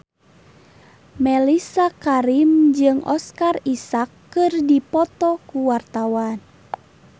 Mellisa Karim jeung Oscar Isaac keur dipoto ku wartawan